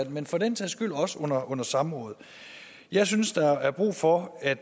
men for den sags skyld også under under samrådet jeg synes der er brug for at